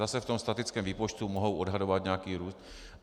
Zase - v tom statickém výpočtu mohu odhadovat nějaký růst.